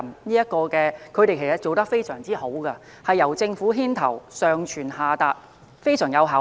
內地在這方面其實做得非常好，是由政府牽頭，上傳下達，非常具效率。